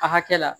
A hakɛ la